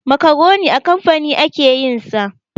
Makaroni a kamfani ake yin sa.